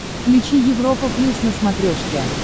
включи европа плюс на смотрешке